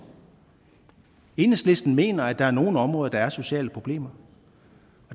enhedslisten mener at der er nogle områder hvor der er sociale problemer